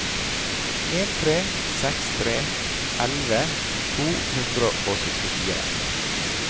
en tre seks tre elleve to hundre og syttifire